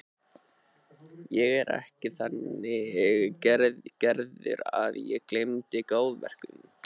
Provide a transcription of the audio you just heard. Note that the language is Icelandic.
Ég er ekki þannig gerður að ég gleymi góðverkum.